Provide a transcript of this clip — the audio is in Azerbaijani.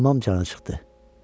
Tamam canı çıxdı.